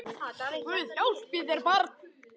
Guð hjálpi þér barn!